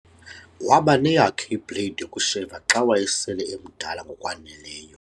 waba neyakhe ibhleyidi yokusheva xa wayesele emdala ngokwaneleyo